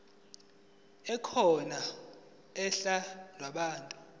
ekhona uhla lwabantu